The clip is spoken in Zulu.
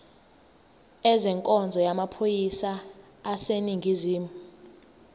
ezenkonzo yamaphoyisa aseningizimu